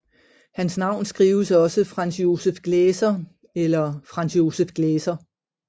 Hans navn skrives også Franz Joseph Gläser eller Franz Joseph Glaeser